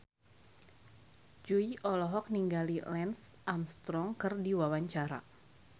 Jui olohok ningali Lance Armstrong keur diwawancara